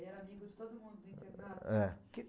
Ele era amigo de todo mundo do internato. Eh.